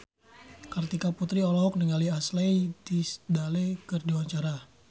Kartika Putri olohok ningali Ashley Tisdale keur diwawancara